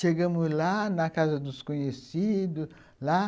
Chegamos lá, na casa dos conhecidos lá.